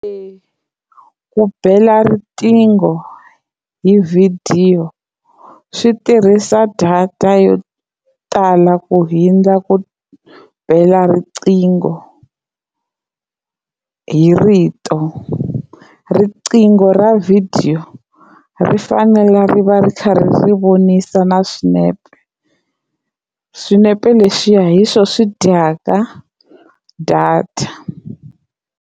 Eya ku bela riqingho hi vhidiyo swi tirhisa data yo tala ku hindza ku bela riqingho hi rito riqingho ra vhidiyo ri fanela ri va ri kha ri vonisa na swinepe swinepe leswiya hi swo swi dyaka data.